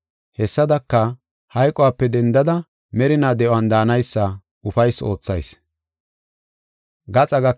Hessadaka, hayqope dendada merinaw de7on daanaysa ufaysi oothayis.